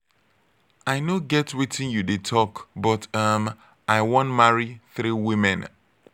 i no get wetin you dey talk but um i wan marry three women